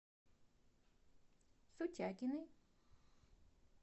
сутягиной